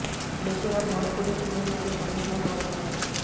लेकिन अब भोजपुरी फिल्में विदेशों में शूट हो रही है